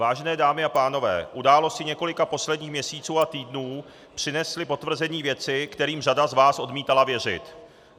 Vážené dámy a pánové, události několika posledních měsíců a týdnů přinesly potvrzení věcí, kterým řada z vás odmítala věřit.